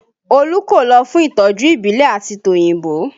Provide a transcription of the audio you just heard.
Olú kò lọ fún ìtọ́jú ìbílẹ̀ àti tòyìnbó